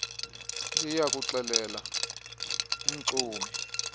liya kuxelela umxumi